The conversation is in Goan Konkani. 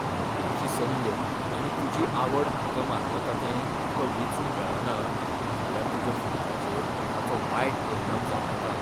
नोकरीची संद आनी तुजी आवड हांका मानवता तें तुकां वेचूंक मेळना जाल्यार तुज्या फुडाराचेर ताचो वाईट परिणाम जावं येता.